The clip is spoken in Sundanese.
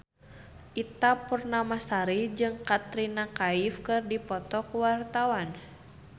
Ita Purnamasari jeung Katrina Kaif keur dipoto ku wartawan